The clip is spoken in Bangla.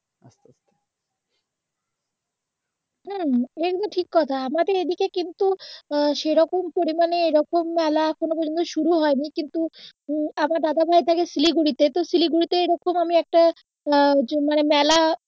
হুম এইগুলা ঠিক কথা আমাদের এইদিকে কিন্তু আহ সেরকম পরিমানে এইরকম মেলা এখনো পর্যন্ত শুরু হয়নি কিন্তু উম আমার দাদাভাই থাকে শিলিগুড়িতে তো শিলিগুড়িতে এইরকম আমি একটা আহ মানে মেলা